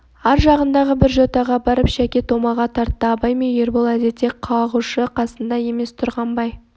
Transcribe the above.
ар жағындағы бір жотаға барып шәке томаға тартты абай мен ербол әдетте қағушы қасында емес тұрғанбай